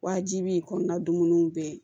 Wajibi kɔni dun bɛɛ